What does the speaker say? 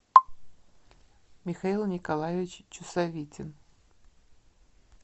михаил николаевич чусовитин